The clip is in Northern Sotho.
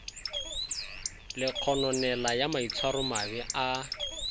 le kgononelo ya maitshwaromabe a